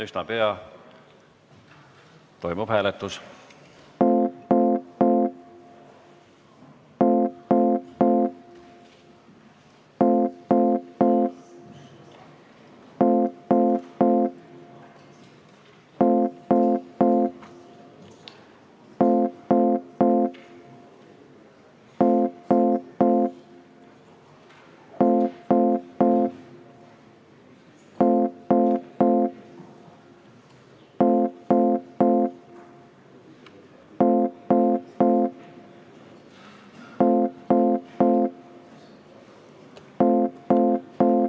Üsna pea toimub hääletus.